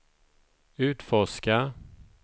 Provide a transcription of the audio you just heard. utforska